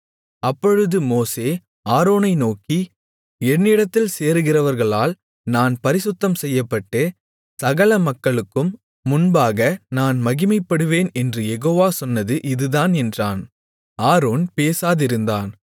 அப்பொழுது மோசே ஆரோனை நோக்கி என்னிடத்தில் சேருகிறவர்களால் நான் பரிசுத்தம் செய்யப்பட்டு சகல மக்களுக்கும் முன்பாக நான் மகிமைப்படுவேன் என்று யெகோவா சொன்னது இதுதான் என்றான் ஆரோன் பேசாதிருந்தான்